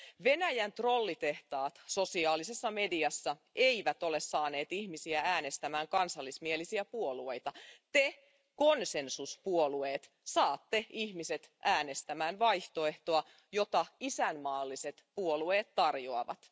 Venäjän trollitehtaat sosiaalisessa mediassa eivät ole saaneet ihmisiä äänestämään kansallismielisiä puolueita. Te konsensuspuolueet saatte ihmiset äänestämään vaihtoehtoa, jota isänmaalliset puolueet tarjoavat.